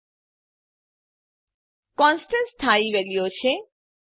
constants constants સ્થાયી વેલ્યુઓ છે